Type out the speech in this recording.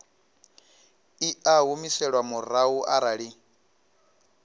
i a humiselwa murahu arali